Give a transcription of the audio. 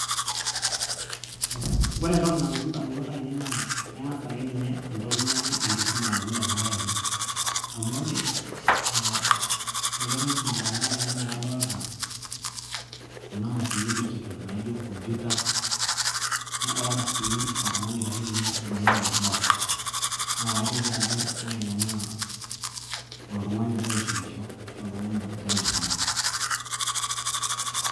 ee ore entoki nalotu indamunot ainei naa eng'as akeninye entoki naji enkisuma alotu indamunot ainei amu ore ee peelotu enkisuma indamunot ainei naa kadolta kuna mashinini e digital naijo computer nadolta sii oltung'ani oitashito tine oibung'ita enkardasi naa kaiteki ajo ore ilo naa oltung'ani ogira aisumisho ashua oltung'ani ogira asisuma.